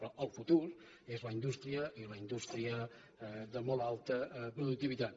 però el futur és la indústria i la indústria de molt alta productivitat